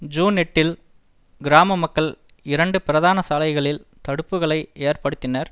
June எட்டில் கிராம மக்கள் இரண்டு பிரதான சாலைகளில் தடுப்புக்களை ஏற்படுத்தினர்